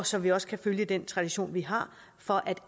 så vi også kan følge den tradition vi har for at